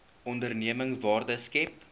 onderneming waarde skep